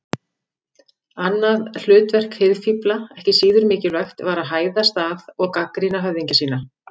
Annað hlutverk hirðfífla, ekki síður mikilvægt, var að hæðast að og gagnrýna höfðingja sína.